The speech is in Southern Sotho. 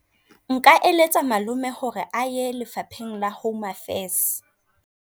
Nka eletsa malome hore a ya lefapheng la Home Affairs.